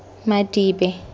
madibe